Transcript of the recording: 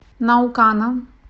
наукана